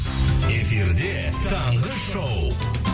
эфирде таңғы шоу